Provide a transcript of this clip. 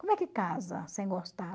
como que casa sem gostar?